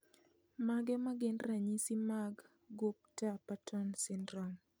Mage magin ranyisi mag Gupta Patton syndrome